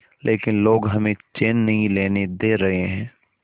लेकिन लोग हमें चैन नहीं लेने दे रहे